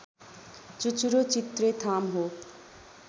चुचुरो चित्रेथाम हो